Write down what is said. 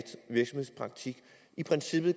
virksomhedspraktik i princippet